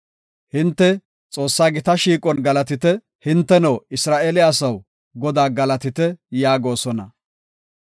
Hinte “Xoossa gita shiiqon galatite; hinteno, Isra7eele asaw, Godaa galatite” yaagosona.